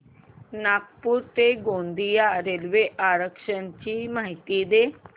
नागपूर ते गोंदिया रेल्वे आरक्षण ची माहिती दे